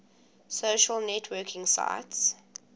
social networking sites